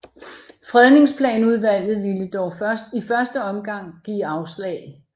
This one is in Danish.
Fredningsplanudvalget ville dog i første omgang give afslag